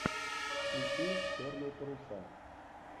включи черные паруса